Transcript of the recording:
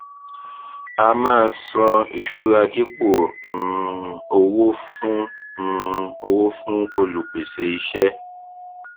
a máa san ìṣura dípò um owó fún um owó fún olùpèsè iṣẹ